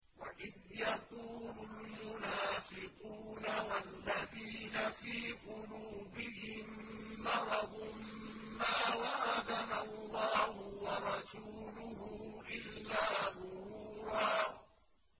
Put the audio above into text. وَإِذْ يَقُولُ الْمُنَافِقُونَ وَالَّذِينَ فِي قُلُوبِهِم مَّرَضٌ مَّا وَعَدَنَا اللَّهُ وَرَسُولُهُ إِلَّا غُرُورًا